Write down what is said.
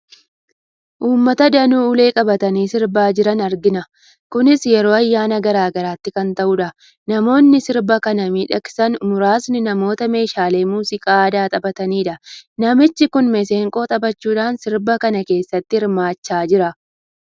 Uummata danuu ulee qabatanii sirbaa jiran argina. Kunis yeroo ayyaana garaa garaatti kan ta'udha. Namoonni sirba kana miidhagsan muraasni namoota meeshaalee muuziqaa aadaa taphatanidha. Namichi kun maseenqoo taphachuudhaan sirba kana keessatti hirmaachaa jira.